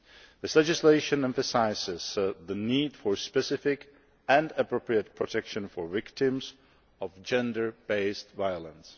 This legislation emphasises the need for specific and appropriate protection for victims of gender based violence.